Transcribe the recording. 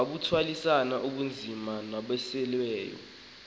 kukuthwalisana ubunzima nabasweleyo